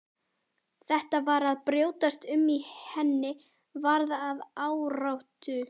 Þetta var að brjótast um í henni, varð að áráttu.